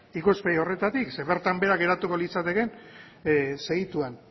ikuspegi horretatik zeren bertan behera geratuko litzateke segituan